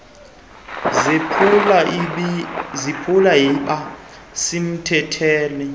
zephulo yiba semthethweni